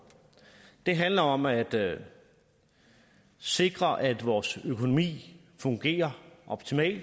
det handler om at sikre at vores økonomi fungerer optimalt